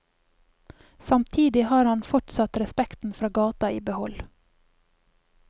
Samtidig har han fortsatt respekten fra gata i behold.